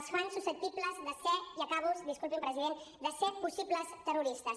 els fa susceptibles de ser i acabo disculpi’m president possibles terroristes